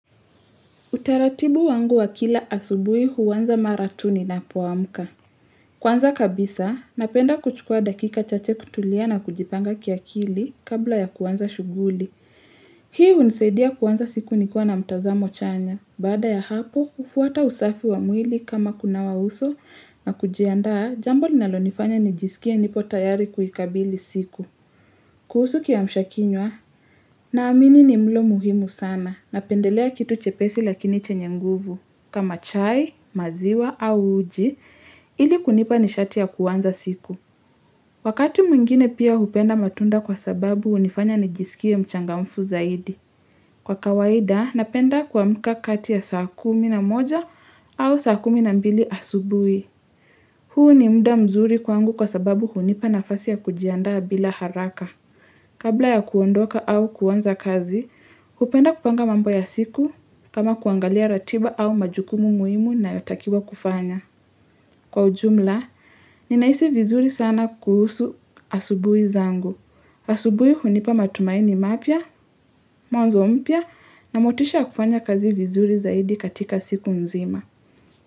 Utaratibu wangu wa kila asubuhi huanza mara tu ninapoamka. Kwanza kabisa, napenda kuchukua dakika chache kutulia na kujipanga kiakili kabla ya kaanza shughuli. Hii hunisaidia kuanza siku nikiwa na mtazamo chanya. Baada ya hapo, hufuata usafi wa mwili kama kunawa uso na kujiandaa jambo linalonifanya nijisikie nipo tayari kuikabili siku. Kuhusu kiamshakinywa, naamini ni mlo muhimu sana napendelea kitu chepesi lakini chenye nguvu. Kama chai, maziwa au uji, ili kunipa nishati ya kuanza siku. Wakati mwingine pia hupenda matunda kwa sababu hunifanya nijisikie mchangamfu zaidi. Kwa kawaida, napenda kuamka kati ya saa kumi na moja au saa kumi na mbili asubuhi. Huu ni muda mzuri kwangu kwa sababu hunipa nafasi ya kujiandaa bila haraka. Kabla ya kuondoka au kuanza kazi, hupenda kupanga mambo ya siku kama kuangalia ratiba au majukumu muhimu ninayotakiwa kufanya. Kwa ujumla, ninahisi vizuri sana kuhusu asubuhi zangu. Asubuhi hunipa matumaini mapya, mwanzo mpya na motisha kufanya kazi vizuri zaidi katika siku mzima.